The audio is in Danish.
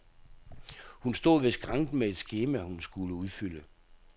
Hun stod ved skranken med et skema, hun skulle udfylde.